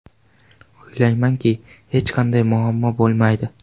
O‘ylaymanki hech qanday muammo bo‘lmaydi.